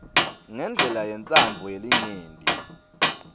ngendlela yentsandvo yelinyenti